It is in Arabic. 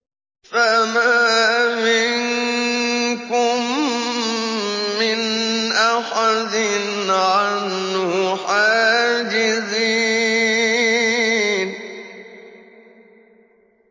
فَمَا مِنكُم مِّنْ أَحَدٍ عَنْهُ حَاجِزِينَ